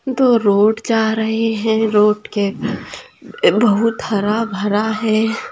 दो रोड जा रहे है रोड के बहुत हरा भरा है।